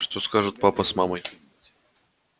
что скажут папа с мамой